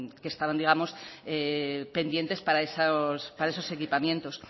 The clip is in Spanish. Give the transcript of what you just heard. que estaban digamos pendientes para esos equipamientos